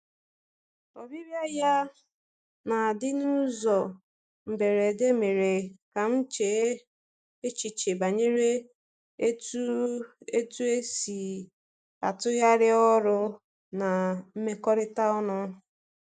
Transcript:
Ọbịbịa ya na-adị n’ụzọ mberede mere ka m chee echiche banyere etu etu esi atụgharị ọrụ na mmekọrịta ọnụ.